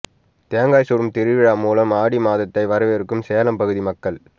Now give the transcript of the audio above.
தேங்காய் சுடும் திருவிழா மூலம் ஆடி மாதத்தை வரவேற்கும் சேலம் பகுதி மக்கள்